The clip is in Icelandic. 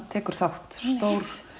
tekur þátt stór